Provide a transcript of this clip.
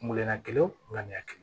Kun kelenna kelen ŋaniya kelen